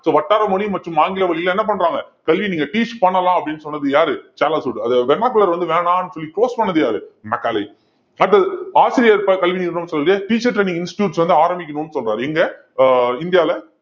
so வட்டார மொழி மற்றும் ஆங்கில வழியில என்ன பண்றாங்க கல்வி நீங்க teach பண்ணலாம் அப்படின்னு சொன்னது யாரு சார்லஸ் வுட் அத vernacular வந்து வேணாம்னு சொல்லி force பண்ணது யாரு மெக்காலே அடுத்தது ஆசிரியர் ப~ கல்வி நிறுவனம்ன்னு சொல்லிட்டு teacher training institutes வந்து ஆரம்பிக்கணும்னு சொல்றாரு இங்க ஆஹ் இந்தியால